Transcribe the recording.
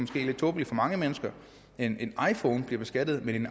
lidt tåbelig for mange mennesker en iphone bliver beskattet men